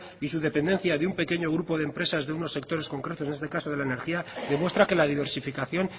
y su dependencia de un pequeño grupo de empresas de unos sectores concretos en este caso de la energía demuestra que la diversificación